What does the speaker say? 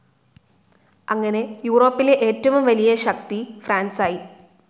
അങ്ങനെ യൂറോപ്പിലെ ഏറ്റവും വലിയ ശക്തി ഫ്രാൻസായി.